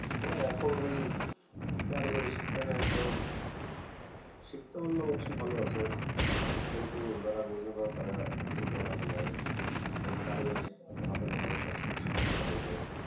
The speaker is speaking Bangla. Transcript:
হা এখন ঐ কারিগরি শিক্ষাটা এখন শিখতে পারলে অবশ্য ভাল আছে কিন্তু যারা বুজেনা তারা কিছু বলার নাই কারণ কারিগরি শিক্ষাতে হাতে কলমে সব কিছু শিখনো হয় ওদের